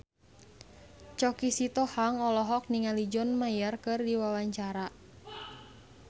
Choky Sitohang olohok ningali John Mayer keur diwawancara